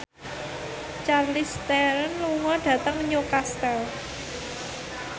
Charlize Theron lunga dhateng Newcastle